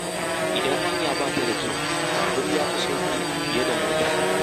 Idan hanya ba ta da kyau, babur ya fi sauƙi fiye da mota.